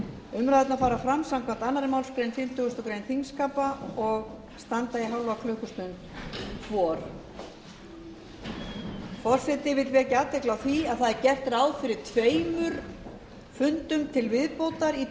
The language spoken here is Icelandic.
umræðurnar fara fram samkvæmt annarri málsgrein fimmtugustu grein þingskapa og standa í hálfa klukkustund hvor forseti vekur athygli á því að gert er ráð fyrir tveimur fundum til viðbótar í